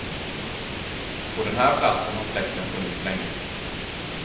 På den här platsen har släkten funnits länge.